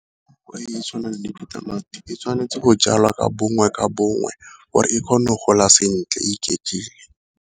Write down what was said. E e tshwanang le ditamati e tshwanetse go jalwa ka bongwe ka bongwe gore e kgone go gola sentle iketlile.